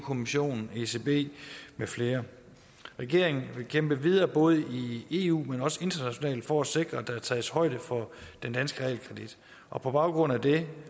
kommissionen ecb med flere regeringen vil kæmpe videre både i eu men også internationalt for at sikre at der tages højde for den danske realkredit og på baggrund af det